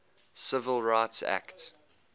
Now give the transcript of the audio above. civil rights act